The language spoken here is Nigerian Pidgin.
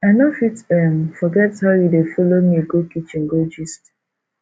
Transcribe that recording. i no fit um forget how you dey folo me go kitchen go gist